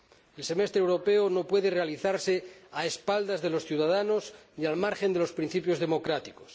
El semestre europeo no puede realizarse a espaldas de los ciudadanos ni al margen de los principios democráticos.